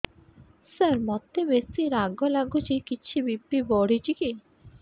ସାର ମୋତେ ବେସି ରାଗ ଲାଗୁଚି କିଛି ବି.ପି ବଢ଼ିଚି କି